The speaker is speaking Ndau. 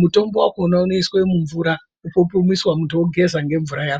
mutombo wakhona unoiswa mumvura opupumiswa, muntu ogeza ngemvura yawo.